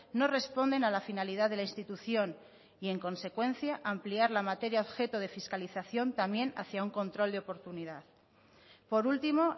no responden a la finalidad de la institución y en consecuencia ampliar la materia objeto de fiscalización también hacia un control de oportunidad por último